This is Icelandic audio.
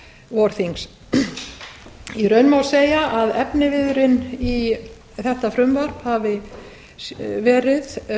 vorþings í raun má segja að efniviðurinn í þetta frumvarp hafi verið